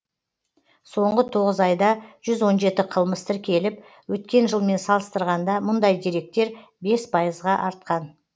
соңғы тоғыз айда жүз он жеті қылмыс тіркеліп өткен жылмен салыстырғанда мұндай деректер бес пайызға артқан